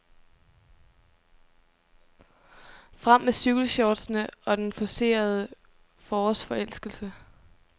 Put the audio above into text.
Frem med cykelshortsene og den forcerede forårsforelskelse.